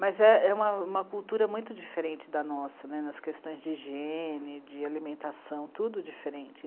Mas é uma, uma cultura muito diferente da nossa, nas questões de higiene, de alimentação, tudo diferente.